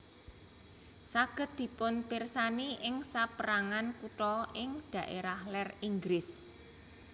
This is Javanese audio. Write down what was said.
Saged dipunpirsani ing sapérangan kutha ing dhaérah lèr Inggris